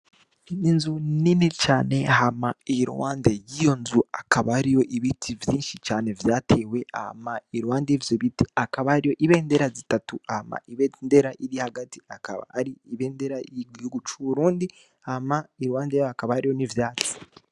Inzu nini cane hama iruhande y'iyo nzu hakaba hariho ibiti vyinshi cane vyatewe, hama iruhande y'ivyo biti hakaba hariho ibendera zitatu, hama ibendera iri hagati ikaba ari ibendera y'igihugu c'uburundi, hama iruhande yaho hakaba hariho n'ivyatsi.